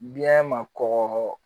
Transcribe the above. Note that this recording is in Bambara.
Biyɛn ma kɔgɔ